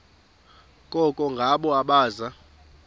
koko ngabo abaza